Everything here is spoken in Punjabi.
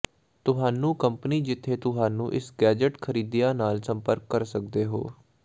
ਤੁਹਾਨੂੰ ਕੰਪਨੀ ਜਿੱਥੇ ਤੁਹਾਨੂੰ ਇਸ ਗੈਜ਼ਟ ਖਰੀਦਿਆ ਨਾਲ ਸੰਪਰਕ ਕਰ ਸਕਦੇ ਹੋ